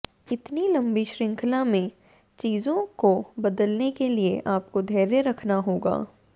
इतनी लंबी श्रृंखला में चीजों को बदलने के लिए आपको धैर्य रखना होगा